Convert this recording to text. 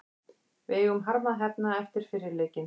Við eigum harma að hefna eftir fyrri leikinn.